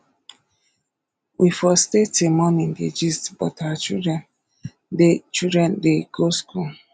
we for stay till morning dey gist but our children dey children dey go school